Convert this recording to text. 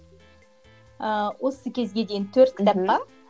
ыыы осы кезге дейін төрт кітап бар